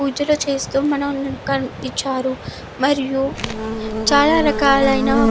పూజలు చేస్తూ మనకు కనిపించారు మరియు చాలా రకాలైన --